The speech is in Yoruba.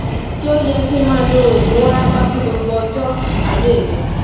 ṣé ó yẹ kí n máa lo oògùn warapa fún gbogbo ọjọ ayé mi